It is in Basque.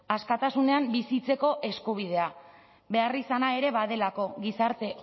askatasunean bizitzeko eskubidea beharrizana ere badelako gizarte